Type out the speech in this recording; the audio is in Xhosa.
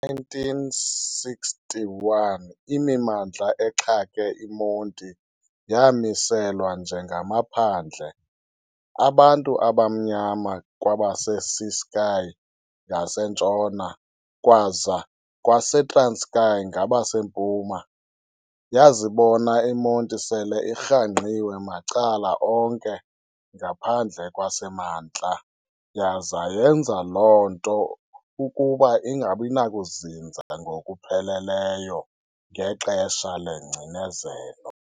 Ngo-1961, imimandla exhake iMonti yaamiselwa njengamaphandle abantu abamnyama kwabaseCiskei ngaseNtshona kwaza kwaseTranskei ngaseMpuma. Yazibona iMonti sele irhangqiwe macala onke ngaphandle kwaseMantla yaza yenza loo nto ukuba ingabi nakuzinza ngokupheleleyo ngexesha lengcinezelo.